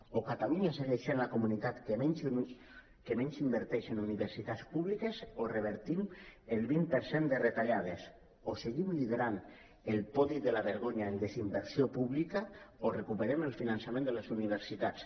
o catalunya segueix sent la comunitat que menys inverteix en universitats públi·ques o revertim el vint per cent de retallades o seguim liderant el podi de la vergonya en desinversió pública o recuperem el finançament de les universitats